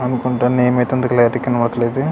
అనుకుంటా నేమ్ అయితే అంత క్లారిటీ గా కనబడట్లేదు ఇది.